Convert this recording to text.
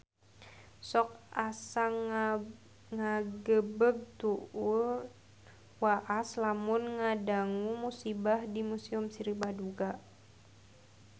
Sok asa ngagebeg tur waas lamun ngadangu musibah di Museum Sri Baduga